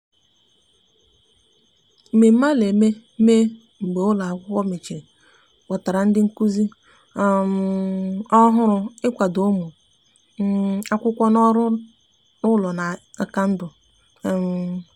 mmeme ana mee mgbe ụlo akwụkwo mecheri kpọtara ndi nkuzi um ohuru ị kwado ụmụ um akwụkwo n'ọrụ ụlọ na nkà ndu um